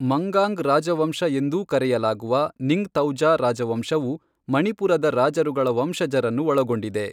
ಮಂಗಾಂಗ್ ರಾಜವಂಶ ಎಂದೂ ಕರೆಯಲಾಗುವ ನಿಂಗ್ಥೌಜ ರಾಜವಂಶವು ಮಣಿಪುರದ ರಾಜರುಗಳ ವಂಶಜರನ್ನು ಒಳಗೊಂಡಿದೆ.